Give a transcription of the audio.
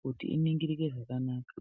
kuti iningirike zvakanaka.